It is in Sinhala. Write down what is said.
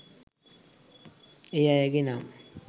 ඒ අයගේ නම්